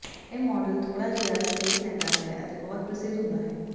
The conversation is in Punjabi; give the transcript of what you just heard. ਇਹ ਮਾਡਲ ਥੋੜ੍ਹਾ ਜਿਹਾ ਸਪੇਸ ਲੈਂਦਾ ਹੈ ਅਤੇ ਬਹੁਤ ਪ੍ਰਸਿੱਧ ਹੁੰਦਾ ਹੈ